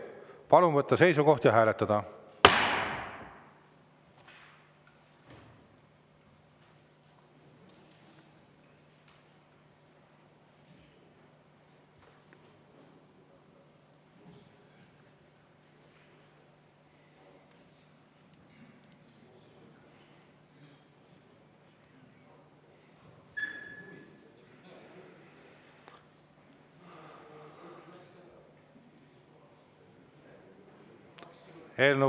Palun võtta seisukoht ja hääletada!